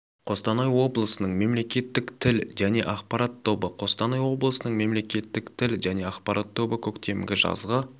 қостанай облысының мемлекеттік тіл және ақпарат тобы қостанай облысының мемлекеттік тіл және ақпарат тобы көктемгі жазғы